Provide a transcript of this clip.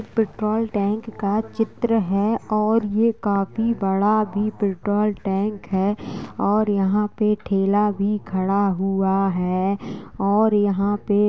petrol tank का चित्र है और ये काफी बड़ा भी पैट्रोल टैंक है और यहां पे ठेला भी खड़ा हुआ है और यहां पे --